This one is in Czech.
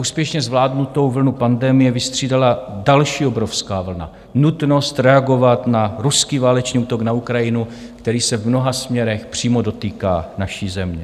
Úspěšně zvládnutou vlnu pandemie vystřídala další obrovská vlna, nutnost reagovat na ruský válečný útok na Ukrajinu, který se v mnoha směrech přímo dotýká naší země.